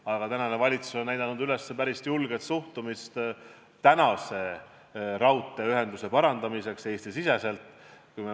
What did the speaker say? Aga tänane valitsus on näidanud üles päris julget suhtumist tänase Eesti-sisese raudteeühenduse parandamisse.